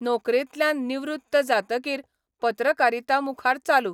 नोकरेंतल्यान निवृत्त जातकीर पत्रकारिता मुखार चालू